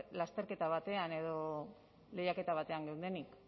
lasterketa batean edo lehiaketa batean geundenik